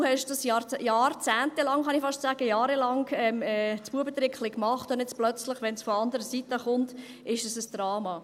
Du hast das «Buebetrickli» jahrelang, jahrzehntelang, kann ich fast sagen, gemacht, und jetzt plötzlich, wenn es von anderer Seite kommt, ist es ein Drama.